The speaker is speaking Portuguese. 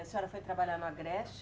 A senhora foi trabalhar no Agreste.